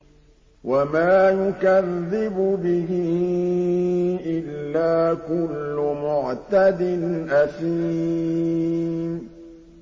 وَمَا يُكَذِّبُ بِهِ إِلَّا كُلُّ مُعْتَدٍ أَثِيمٍ